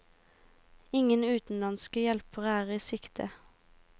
Ingen utenlandske hjelpere er i sikte.